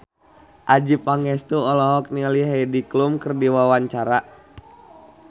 Adjie Pangestu olohok ningali Heidi Klum keur diwawancara